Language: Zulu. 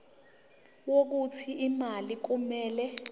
wokuthi imali kumele